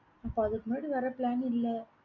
இப்ப அதுக்கு முன்னாடி வர plan இல்ல.